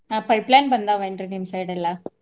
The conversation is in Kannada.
ಹಾ pipeline ಬಂದಾವ ಏನ್ರೀ ನಿಮ್ಮ side ಎಲ್ಲಾ?